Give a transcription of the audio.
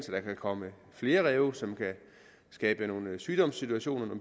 der kan komme flere ræve som kan skabe nogle sygdomssituationer